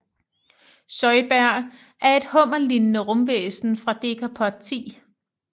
Zoidberg er et hummerlignende rumvæsen fra Decapod 10